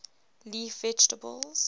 leaf vegetables